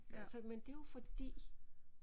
Altså men det er jo fordi